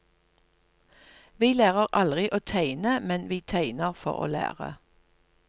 Vi lærer aldri å tegne, men vi tegner for å lære.